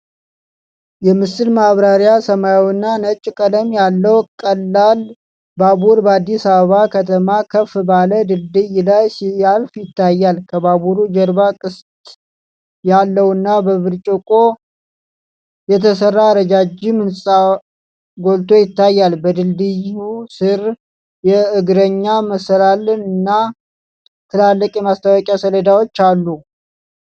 🖼️ የምስል ማብራሪያ ሰማያዊና ነጭ ቀለም ያለው ቀላል ባቡር በአዲስ አበባ ከተማ ከፍ ባለ ድልድይ ላይ ሲያልፍ ይታያል። ከባቡሩ ጀርባ ቅስት ያለውና በብርጭቆ የተሰራ ረጃጅም ህንጻ ጎልቶ ይታያል። በድልድዩ ሥር የእግረኛ መሰላል እና ትላልቅ የማስታወቂያ ሰሌዳዎች አሉ።